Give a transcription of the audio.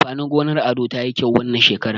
Amfanin gonar Ado tayi kyau wannan shekaran.